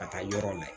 Ka taa yɔrɔ la